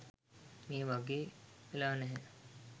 මේ වගේ වෙලා නැහැ.